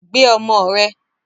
Gbe ọmọ rẹ!